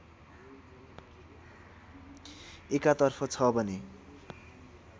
एकातर्फ छ भने